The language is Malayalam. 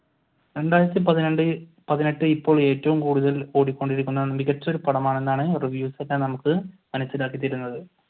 രണ്ടായിരത്തി പന്ത്രണ്ട് പതിനെട്ട് ഇപ്പോൾ ഏറ്റവും കൂടുതൽ ഓടിക്കൊണ്ടിരിക്കുന്ന മികച്ച ഒരു പടമാണെന്നാണ് reviews ഒക്കെ നമുക്ക് മനസിലാക്കിത്തരുന്നത്.